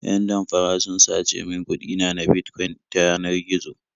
Yan damfara sun sace min kuɗi na na Bitcoin ta yanar gizo.